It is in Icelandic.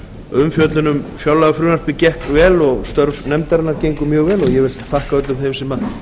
umfjöllun um fjárlagafrumvarpið gekk vel og störf nefndarinnar gengu mjög vel ég þakka öllum þeim sem